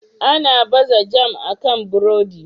Ana baza jam akan burodi.